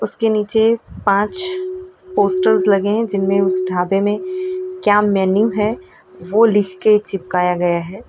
उसके नीचे पांच पोस्टर्स लगे हैं जिनमें उस ढाबे में क्या मेनू है वह लिख के चिपकाए गया है।